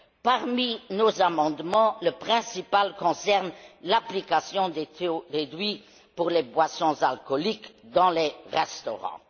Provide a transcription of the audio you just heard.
Parmi nos amendements, le principal concerne l'application des taux réduits aux boissons alcoolisées dans les restaurants.